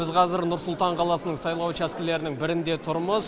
біз қазір нұр сұлтан қаласының сайлау учаскелерінің бірінде тұрмыз